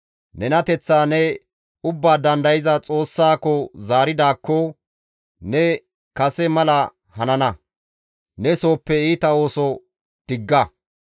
Nenateththaa ne Ubbaa Dandayza Xoossaako ne zaaridaakko, ne kase mala hanana; ne sooppe iita ooso digga.